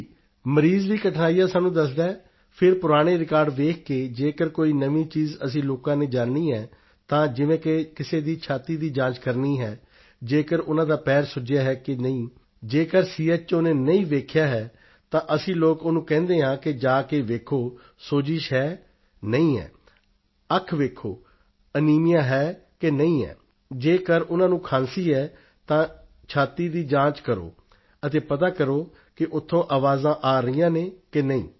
ਜੀ ਮਰੀਜ਼ ਵੀ ਕਠਿਨਾਈਆਂ ਸਾਨੂੰ ਦੱਸਦਾ ਹੈ ਫਿਰ ਪੁਰਾਣੇ ਰਿਕਾਰਡ ਵੇਖ ਕੇ ਜੇਕਰ ਕੋਈ ਨਵੀਂ ਚੀਜ਼ ਅਸੀਂ ਲੋਕਾਂ ਨੇ ਜਾਨਣੀ ਹੈ ਤਾਂ ਜਿਵੇਂ ਕਿ ਕਿਸੇ ਦੀ ਛਾਤੀ ਦੀ ਜਾਂਚ ਕਰਨੀ ਹੈ ਜੇਕਰ ਉਨ੍ਹਾਂ ਦਾ ਪੈਰ ਸੁੱਜਿਆ ਹੈ ਕਿ ਨਹੀਂ ਜੇਕਰ ਸੀਐੱਚਓ ਨੇ ਨਹੀਂ ਵੇਖਿਆ ਹੈ ਤਾਂ ਅਸੀਂ ਲੋਕ ਉਸਨੂੰ ਕਹਿੰਦੇ ਹਾਂ ਕਿ ਜਾ ਕੇ ਵੇਖੋ ਸੋਜਿਸ਼ ਹੈ ਨਹੀਂ ਹੈ ਅੱਖ ਵੇਖੋ ਅਨੀਮੀਆ ਹੈ ਕਿ ਨਹੀਂ ਹੈ ਜੇਕਰ ਉਨ੍ਹਾਂ ਖਾਂਸੀ ਹੈ ਤਾਂ ਛਾਤੀ ਦੀ ਜਾਂਚ ਕਰੋ ਅਤੇ ਪਤਾ ਕਰੋ ਕਿ ਉੱਥੇ ਆਵਾਜ਼ਾਂ ਆ ਰਹੀਆਂ ਹਨ ਕਿ ਨਹੀਂ